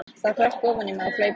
Það hrökk ofan í mig á hlaupunum.